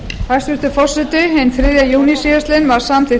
hæstvirtur forseti hinn þriðja júní síðastliðinn var samþykkt